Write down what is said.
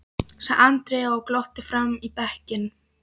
sagði Andrea og glotti framan í bekkinn.